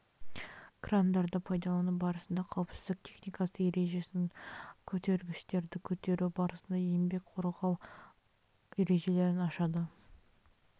крандарды пайдалану барысында қауіпсіздік техникасы ережесін көтергіштерді көтеру барысында еңбекті қорғау ережелерін ашады